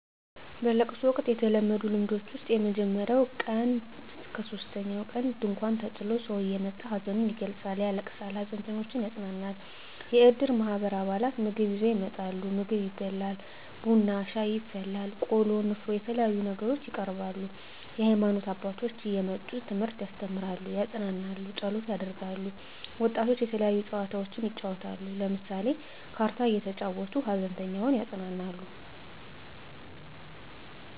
በለቅሶ ወቅት የተለመዱ ልምዶች ውስጥ ከመጀመሪያው ቀን እስከ ሶስተኛው ቀን ድንኳን ተጥሎ ሰው እየመጣ ሀዘኑን ይገልፃል ያለቅሳል ሃዘንተኞችን ያፅናናል። የእድር ማህበር አባላት ምግብ ይዘው ይመጣሉ ምግብ ይበላል ቡና ሻይ ይፈላል ቆሎ ንፍሮ የተለያዩ ነገሮች ይቀርባሉ። የሀይማኖት አባቶች እየመጡ ትምህርት ያስተምራሉ ያፅናናሉ ፀሎት ያደርጋሉ። ወጣቶች የተለያዩ ጨዋታዎችን ይጫወታሉ ለምሳሌ ካርታ እየተጫወቱ ሃዘንተኛውን ያፅናናሉ።